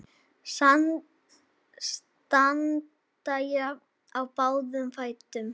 Standa jafnt í báða fætur.